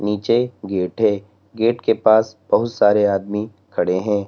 नीचे गेट है गेट के पास बहोत सारे आदमी खड़े हैं।